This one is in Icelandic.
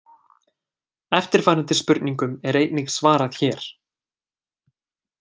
Eftirfarandi spurningum er einnig svarað hér: